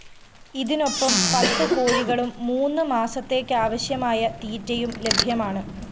ഇതിനൊപ്പം പത്ത് കോഴികളും മൂന്ന് മാസത്തേക്കാവശ്യമായ തീറ്റയും ലഭ്യമാണ്